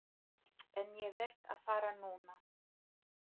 En ég verð að fara núna.